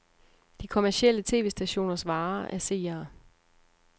De kommercielle tv-stationers vare er seere.